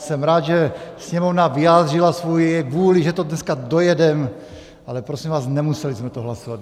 Jsem rád, že Sněmovna vyjádřila svoji vůli, že to dneska dojedeme, ale prosím vás, nemuseli jsme to hlasovat.